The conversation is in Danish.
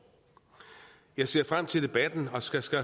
jeg ser frem til debatten og skal skal